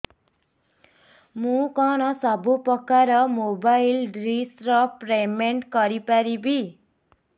ମୁ କଣ ସବୁ ପ୍ରକାର ର ମୋବାଇଲ୍ ଡିସ୍ ର ପେମେଣ୍ଟ କରି ପାରିବି